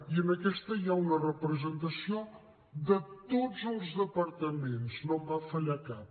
i en aquesta hi ha una representació de tots els departaments no en va fallar cap